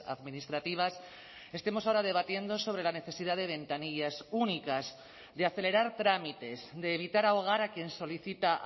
administrativas estemos ahora debatiendo sobre la necesidad de ventanillas únicas de acelerar trámites de evitar ahogar a quien solicita